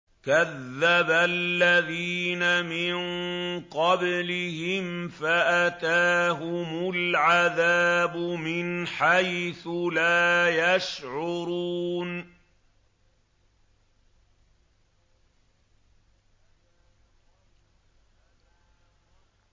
كَذَّبَ الَّذِينَ مِن قَبْلِهِمْ فَأَتَاهُمُ الْعَذَابُ مِنْ حَيْثُ لَا يَشْعُرُونَ